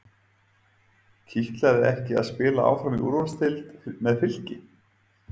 Kitlaði ekki að spila áfram í úrvalsdeild með Fylki?